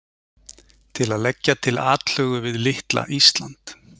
Til að leggja til atlögu við litla Ísland?